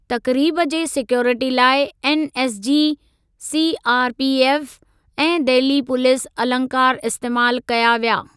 तक़रीब जे सीक्यूरिटी लाइ NSG, CRPF ऐं दहिली पुलीस अलंकार इस्तेमाल कया विया।